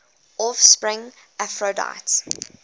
offspring of aphrodite